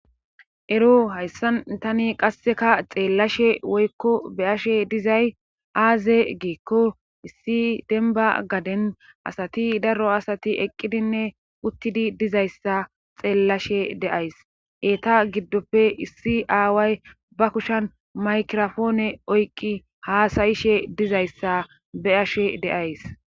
ero hayssan tani qasseka xeellashe woykko be ashe dizay aaze geekko issi denba gaden asati daro asati eqqidinne uttidi dizayssa xeellashe deays eeta giddoppe issi aaway ba kushan maykirofoone oyqqi haasayishe dizayssa be ashe deays